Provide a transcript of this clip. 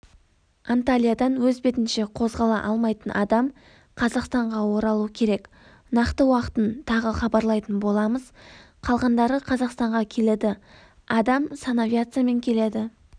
анталиядан өз бетінше қозғала алмайтын адам қазақстанға оралу керек нақты уақытын тағы хабарлайтын боламыз қалғандары қазақстанға келеді адам санавиациямен келеді